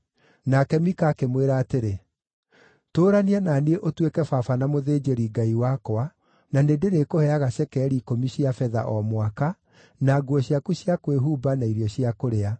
Nake Mika akĩmwĩra atĩrĩ, “Tũũrania na niĩ ũtuĩke baba na mũthĩnjĩri-ngai wakwa, na nĩndĩrĩkũheaga cekeri ikũmi cia betha o mwaka, na nguo ciaku cia kwĩhumba na irio cia kũrĩa.”